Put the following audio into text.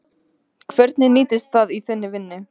Hvernig nýtist það í þinni vinnu?